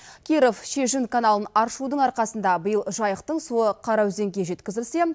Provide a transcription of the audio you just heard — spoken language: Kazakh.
киров шежін каналын аршудың арқасында биыл жайықтың суы қараөзенге жеткізілсе